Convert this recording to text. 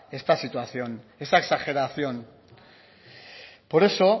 esta situación esta exageración por eso